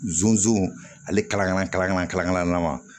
Zonzani ale kala kala n ma